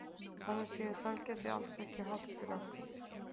Þannig séð er sælgæti alls ekki hollt fyrir okkur.